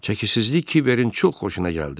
Çəkisizlik kiberin çox xoşuna gəldi.